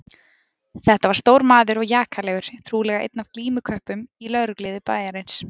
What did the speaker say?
Þetta var stór maður og jakalegur, trúlega einn af glímuköppunum í lögregluliði bæjarins.